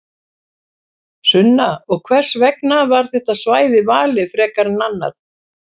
Sunna: Og hvers vegna var þetta svæði valið frekar en annað?